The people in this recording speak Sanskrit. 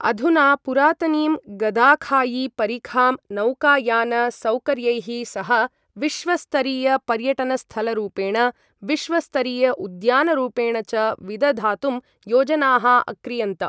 अधुना पुरातनीं गदाखायी परिखां नौकायान सौकर्यैः सह विश्व स्तरीय पर्यटनस्थलरूपेण विश्व स्तरीय उद्यानरूपेण च विदधातुं योजनाः अक्रीयन्त।